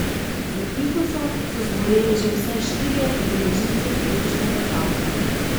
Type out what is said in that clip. Za tifusom so zboleli že vsaj štirje udeleženci letošnjega tabora.